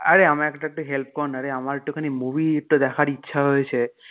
আরে আমার একটু help করনা রে আমার একটুখানি movie টা দেখার ইচ্ছা হয়েছে,